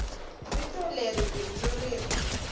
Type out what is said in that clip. vito leri bindzu ri ri